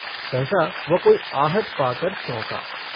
सहसा वह कोई आहट पाकर चौंका।